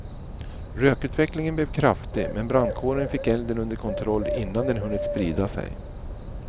Rökutvecklingen blev kraftig men brandkåren fick elden under kontroll innan den hunnit sprida sig.